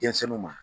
Denmisɛnninw ma